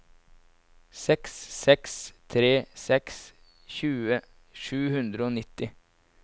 seks seks tre seks tjue sju hundre og nitti